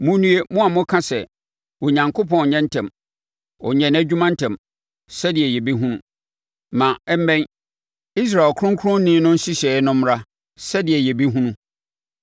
Monnue, mo a moka sɛ, “Onyankopɔn nyɛ ntɛm, ɔnyɛ nʼadwuma ntɛm sɛdeɛ yɛbɛhunu. Ma ɛmmɛn, Israel Ɔkronkronni no nhyehyɛeɛ no mmra, sɛdeɛ yɛbɛhunu.”